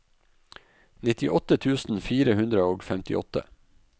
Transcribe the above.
nittiåtte tusen fire hundre og femtiåtte